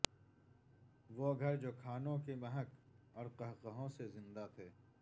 وہ گھر جو کھانوں کی مہک اور قہقہوں سے زندہ تھے